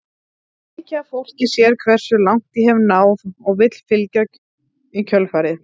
Mikið af fólki sér hversu langt ég hef náð og vill fylgja í kjölfarið.